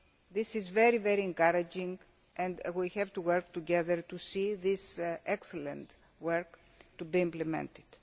This is very very encouraging and we have to work together to see this excellent work implemented.